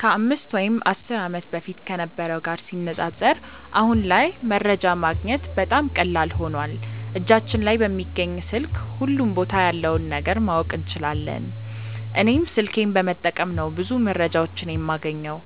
ከ 5 ወይም 10 ዓመት በፊት ከነበረው ጋር ሲነጻጸር አሁን ላይ መረጃ ማግኘት በጣም ቀላል ሆኖዋል እጃችን ላይ በሚገኝ ስልክ ሁሉም ቦታ ያለውን ነገር ማወቅ እንችላለን። እኔም ስልኬን በመጠቀም ነው ብዙ መረጃዎችን የማገኘው።